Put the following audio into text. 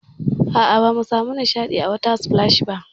A'a, bamu samu nishaɗi a water splash ba.